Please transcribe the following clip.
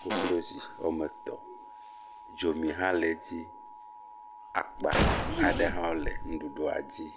koklozi woame etɔ̃, dzomi hã le dzi, akpa aɖe hã le nuɖuɖua dzi.